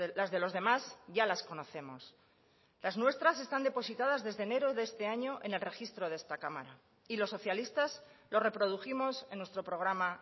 las de los demás ya las conocemos las nuestras están depositadas desde enero de este año en el registro de esta cámara y los socialistas lo reprodujimos en nuestro programa